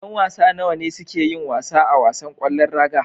Yan wasa nawa ne suka suke yin wasa a wasan ƙwallon raga.